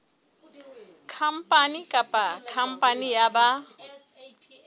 khampani kapa khampani ya ba